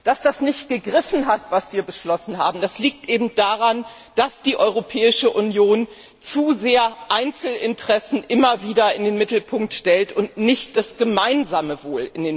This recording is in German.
Dass das nicht gegriffen hat, was wir beschlossen haben, liegt eben daran, dass die Europäische Union Einzelinteressen immer wieder zu sehr in den Mittelpunkt stellt und nicht das gemeinsame Wohl.